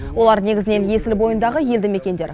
олар негізінен есіл бойындағы елді мекендер